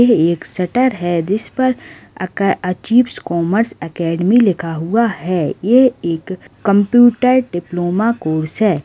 ये एक शटर है जिसपर अक अचीव कॉमर्स एकेडमी लिखा हुआ है ये एक कंप्यूटर डिप्लोमा कोर्स हैं।